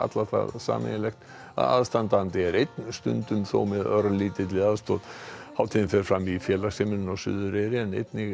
sameiginlegt að aðstandi er einn stundum þó með örlítilli aðstoð hátíðin fer fram í félagsheimilinu á Suðureyri en einnig